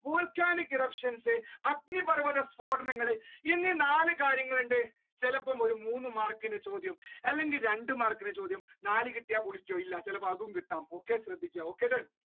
volcanic eruptions അഗ്നിപർവത സ്‌ഫോടനങ്ങൾ എന്നീ നാല് കാര്യങ്ങളുണ്ട്. ചിലപ്പോ ഒരു മൂന്ന് മാർക്കിന്റെ ചോദ്യം അല്ലെങ്കിൽ രണ്ട് മാർക്കിന്റെ ചോദ്യം നാൽ കിട്ടിയാൽ പുള്ളിക്കോ ഇല്ല ചിലപ്പോ അതും okay ശ്രദ്ധിക്കുക കിട്ടാം.